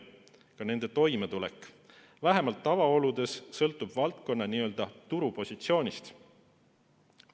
Ka nende toimetulek, vähemalt tavaoludes, sõltub valdkonna n‑ö turupositsioonist.